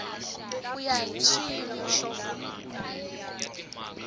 ku ya hi swiyimo swo